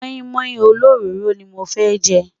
móin móin ólórọrò ní mọ fẹ jé